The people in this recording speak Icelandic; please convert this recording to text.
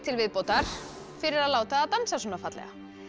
viðbótar fyrir að láta það dansa svona fallega